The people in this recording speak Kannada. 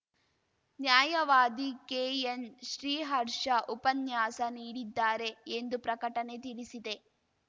ನ್ಯಾಯವಾದಿ ಕೆಎನ್‌ ಶ್ರೀಹರ್ಷ ಉಪನ್ಯಾಸ ನೀಡಿದ್ದಾರೆ ಎಂದು ಪ್ರಕಟಣೆ ತಿಳಿಸಿದೆ